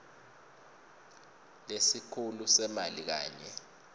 lesikhulu semali kanye